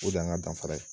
O de y'an ka danfara ye